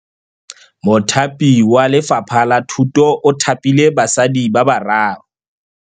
Mothapi wa Lefapha la Thutô o thapile basadi ba ba raro.